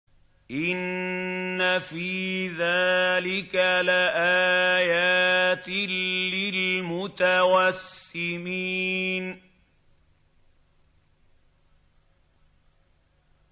إِنَّ فِي ذَٰلِكَ لَآيَاتٍ لِّلْمُتَوَسِّمِينَ